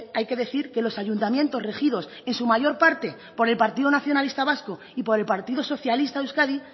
hay que decir que los ayuntamientos regidos en su mayor parte por el partido nacionalistas vasco y por el partido socialista de euskadi